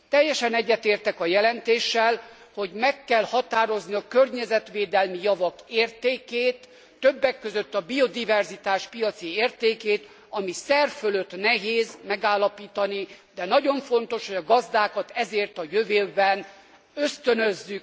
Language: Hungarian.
Teljesen egyetértek a jelentéssel, hogy meg kell határozni a környezetvédelmi javak értékét, többek között a biodiverzitás piaci értékét, amit szerfölött nehéz megállapítani, de nagyon fontos hogy a gazdákat ezért a jövőben ösztönözzük, díjazzuk, mert a piac nem teszi meg.